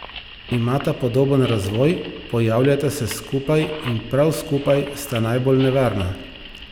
Imata podoben razvoj, pojavljata se skupaj in prav skupaj sta najbolj nevarna.